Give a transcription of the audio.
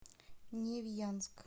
невьянск